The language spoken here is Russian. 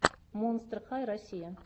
монстр хай россия